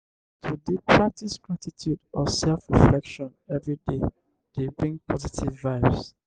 to de practice gratitude or self reflection everyday de bring positive vibes